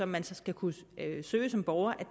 man skal kunne søge som borger